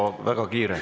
Tempo on väga kiire.